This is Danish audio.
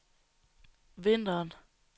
vinteren